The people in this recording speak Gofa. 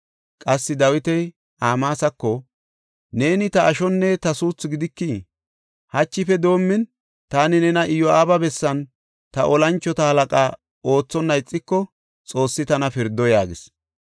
Qassi Dawiti Amaasako, “Neeni ta ashonne ta suuthu gidikii? Hachife doomin, taani nena Iyo7aaba bessan ta tora mocona oothonna ixiko, Xoossi tana pirdo” yaagis.